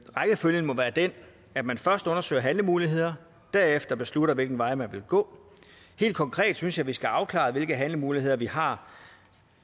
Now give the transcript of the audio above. at man først undersøger handlemuligheder og derefter beslutter hvilken vej man vil gå helt konkret synes jeg vi skal have afklaret hvilke handlemuligheder vi har